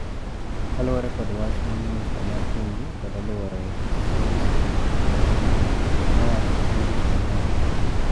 Kaluwore kod wach ma Minista mar Pinje kod Alwore Celso Correia nowacho chieng ' Tich Ang'wen.